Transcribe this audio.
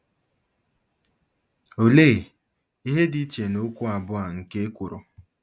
Olee ihe dị iche nokwu abụọ a nke ekworo?